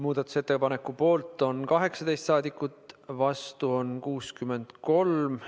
Muudatusettepaneku poolt on 18 saadikut, vastu on 63.